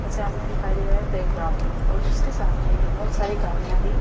और सामने दिखाई दे रहा है प्ले ग्राउंड और उसके सामने है बहुत सारी गाड़ियां भी।